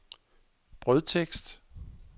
brødtekst